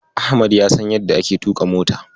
Ahmad ya san yadda ake tuƙa mota.